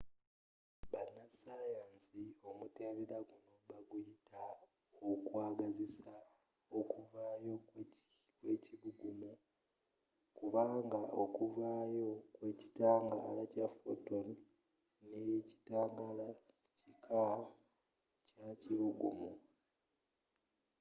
banasayansi omutendera guno baguyita okwagazisa okuvaayo kw’ekibugumu” kubanga okuvaayo kw’ekitangala kya photon n’ekitangaala kika kyakibugumu